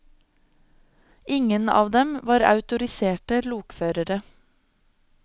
Ingen av dem var autoriserte lokførere.